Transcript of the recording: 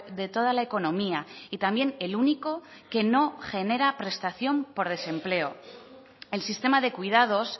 de toda la economía y también el único que no genera prestación por desempleo el sistema de cuidados